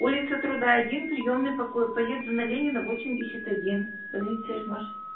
улица труда один приёмный покой поеду на ленина восемьдесят один больница ижмаш